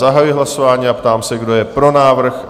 Zahajuji hlasování a ptám se, kdo je pro návrh?